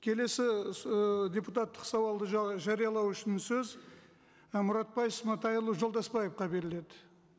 келесі ыыы депутаттық сауалды жариялау үшін сөз і мұратбай сматайұлы жолдасбаевқа беріледі